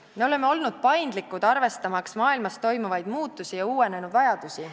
Me oleme olnud paindlikud, arvestamaks maailmas toimuvaid muutusi ja uuenenud vajadusi.